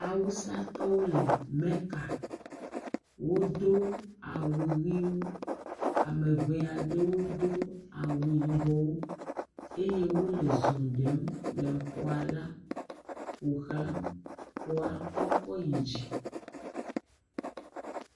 Awusatɔwo le meka. Wodo awu ʋiwo ameŋee aɖewo do awu yibɔ eye wole zɔ ɖem ƒoxla xɔla, xɔa kɔkɔ yi dzi.